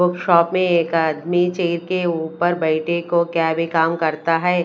Shop पे एक आदमी चेयर के ऊपर बैठे को क्या वे काम करता है।